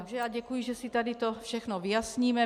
Takže já děkuji, že si tady to všechno vyjasníme.